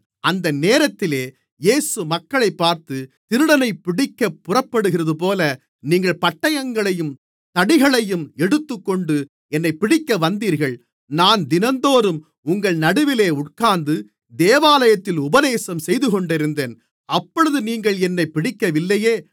அந்த நேரத்திலே இயேசு மக்களைப் பார்த்து திருடனைப்பிடிக்கப் புறப்படுகிறதுபோல நீங்கள் பட்டயங்களையும் தடிகளையும் எடுத்துக்கொண்டு என்னைப் பிடிக்கவந்தீர்கள் நான் தினந்தோறும் உங்கள் நடுவிலே உட்கார்ந்து தேவாலயத்தில் உபதேசம் செய்துகொண்டிருந்தேன் அப்பொழுது நீங்கள் என்னைப் பிடிக்கவில்லையே